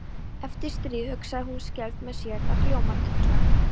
Eftir stríð, hugsaði hún skelfd með sér, það hljómar illa.